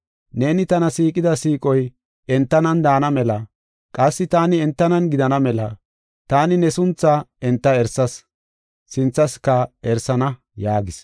Neeni tana siiqida siiqoy entanan daana mela, qassi taani entanan gidana mela, taani ne sunthaa enta erisas; sinthaska erisana” yaagis.